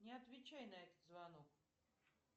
не отвечай на этот звонок